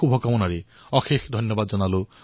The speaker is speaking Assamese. এই শুভকামনাৰ সৈতে অশেষ ধন্যবাদ